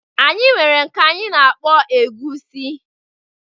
Anyị nwere nke anyị -na-akpọ egusi.